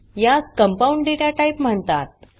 यास compound data type म्हणतात